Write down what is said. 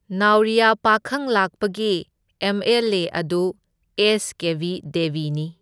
ꯅꯥꯎꯔꯤꯌꯥ ꯄꯥꯈꯪꯂꯥꯛꯄꯒꯤ M L A ꯑꯗꯨ S Kebi ꯗꯦꯕꯤꯅꯤ꯫